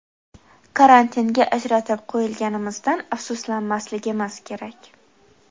Karantinga ajratib qo‘yilganimizdan afsuslanmasligimiz kerak.